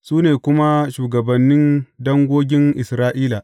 Su ne kuma shugabannin dangogin Isra’ila.